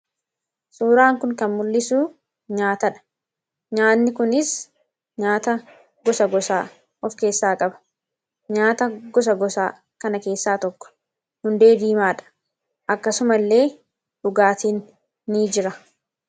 Suuraan kun kan mul'isu nyaatadha. Nyaanni kunis nyaata gosa gosaan of keessaa qaba. Nyaata gosa gosaa kana keessaa tokko hundee diimaadha. Akkasumas illee dhugaatiin ni jira.